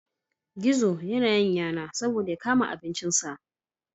Gizo ya na yin yana saboda ya kama abincin sa